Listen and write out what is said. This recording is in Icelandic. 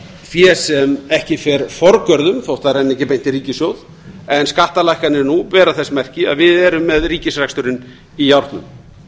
fé sem ekki fer forgörðum þó það renni ekki beint í ríkissjóð en skattalækkanir nú bera þess merki að við erum með ríkisreksturinn í járnum